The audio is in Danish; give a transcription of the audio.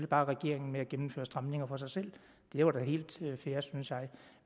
bare regeringen med at gennemføre stramninger for sig selv det var da helt fair synes jeg